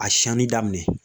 A siɲani daminɛ